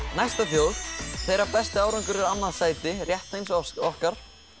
næsta þjóð þeirra besti árangur er annað sæti rétt eins og okkar